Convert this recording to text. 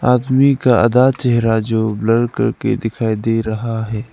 आदमी का आधा चेहरा जो ब्लर करके दिखाई दे रहा है।